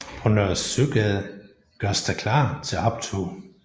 På Nørre Søgade gøres der klar til optog